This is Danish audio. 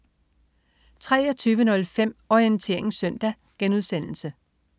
23.05 Orientering Søndag*